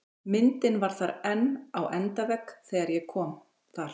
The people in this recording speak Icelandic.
Myndin var þar enn á endavegg þegar ég kom þar